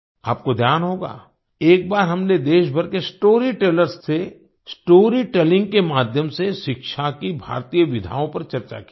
आपको ध्यान होगा एक बार हमने देश भर के स्टोरी टेलर्स से स्टोरी टेलिंग के माध्यम से शिक्षा की भारतीय विधाओं पर चर्चा की थी